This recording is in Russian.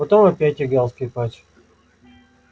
потом опять играл скрипач